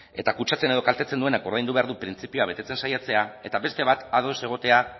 eta kutsatzen edo kaltetzen duenak ordaindu behar du printzipioa betetzen saiatzea eta beste bat ados egotea